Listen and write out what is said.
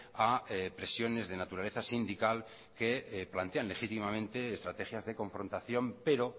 a presiones de naturaleza sindical que plantean legítimamente estrategias de confrontación pero